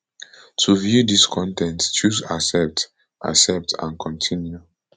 to view dis con ten t choose accept accept and continue